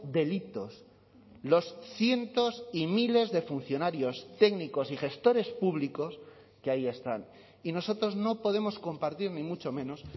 delitos los cientos y miles de funcionarios técnicos y gestores públicos que ahí están y nosotros no podemos compartir ni mucho menos